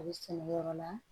A bɛ sɛnɛ yɔrɔ la